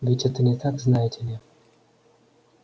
ведь это не так знаете ли